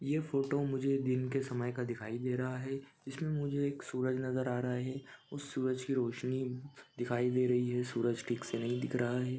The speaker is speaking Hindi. ये फोटो मुझे दिन के समय का दिखाई दे रहा है इसमें मुझे एक सूरज नज़र आ रहा है उस सूरज की रोशनी दिखाई दे रही है सूरज ठीक से नहीं दिख रहा है।